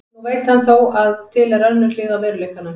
Nú veit hann þó að til er önnur hlið á veruleikanum.